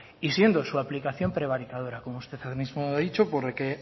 y siendo su aplicación prevaricadora como usted ahora mismo ha dicho porque